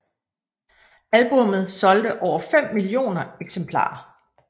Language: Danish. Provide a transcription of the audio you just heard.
Albummet solgte over 5 millioner eksemplarer